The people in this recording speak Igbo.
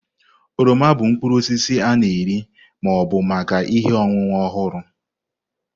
oroma bụ mkpụrụ osisi a na-eri ma ọ bụ maka ihe ọṅụṅụ ọhụrụ.